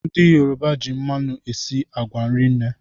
Ndị Yoruba ji mmanụ esi agwa rinne